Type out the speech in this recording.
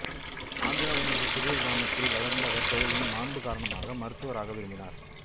ஆந்திராவின் ஒரு சிறிய கிராமத்தில் வளர்ந்த அவர் தொழிலின் மாண்பு காரணமாக மருத்துவராக விரும்பினார்